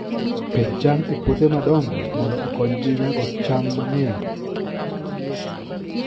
Pidh cham e puothe madongo mondo okonygi nyago cham mang'eny.